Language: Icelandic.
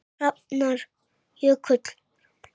Hrafnar Jökull.